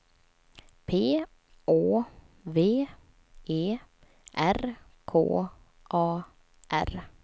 P Å V E R K A R